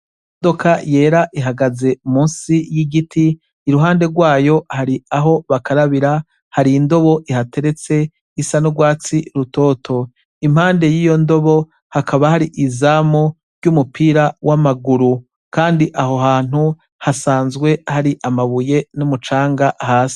Imodoka yera ihagaze munsi y'igiti, iruhande rwayo hari aho bakarabira, har'indobo ihateretse isa n'urwatsi rutoto. Impande y'iyo ndobo, hakaba hari izamu ry'umupira w'amaguru kandi aho hantu hasanzwe hari amabuye n'umucanga hasi.